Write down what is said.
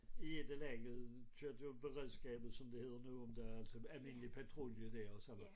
I et eller andet job beredskabet som det hedder nu om dage altså almindelig patruljelæge og sådan noget